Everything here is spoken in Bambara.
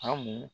Hamu